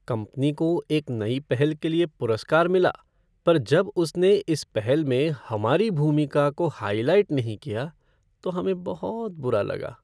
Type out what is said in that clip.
Company को एक नई पहल के लिए पुरस्कार मिला पर जब उसने इस पहल में हमारी भूमिका को हाइलाइट नहीं किया तो हमें बहुत बुरा लगा।